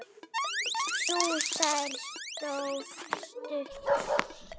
Sú sæla stóð stutt.